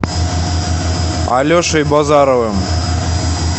алешей базаровым